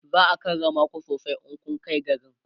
za'a karrama ku sosai in kunkai garin